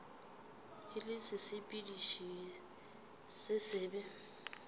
e le sesepediši se sebe